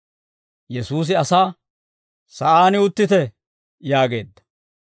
Yesuusi asaa, «Sa'aan uttite» yaageedda.